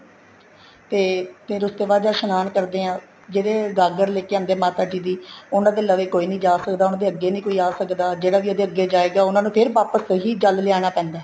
ਤੇ ਫ਼ੇਰ ਉਸ ਤੋਂ ਬਾਅਦ ਜਦ ਇਸ਼ਨਾਨ ਕਰਦੇ ਹਾਂ ਜਿਹੜੇ ਗਾਗਰ ਲੈਕੇ ਆਂਦੇ ਹੈ ਮਾਤਾ ਜੀ ਦੀ ਉਹਨਾ ਦੇ ਲਵੇ ਕੋਈ ਨਹੀਂ ਜਾ ਸਕਦਾ ਉਹਨਾ ਅੱਗੇ ਨਹੀਂ ਕੋਈ ਆ ਸਕਦਾ ਜਿਹੜਾ ਵੀ ਉਹਦੇ ਅੱਗੇ ਜਾਏਗਾ ਉਹਨਾ ਨੂੰ ਫ਼ੇਰ ਵਾਪਿਸ ਤੋ ਹੀ ਜਲ ਲਿਆਣਾ ਪੈਂਦਾ